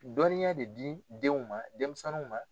Dɔnniya de di denw ma denmisɛnninw.